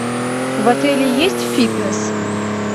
в отеле есть фитнес